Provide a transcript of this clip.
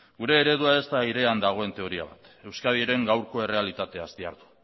gure eredua ez da airean dagoen teoria bat euskadiren gaurko errealitateaz dihardu